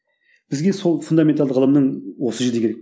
бізге сол фундаменталды ғылымның осы жерде керек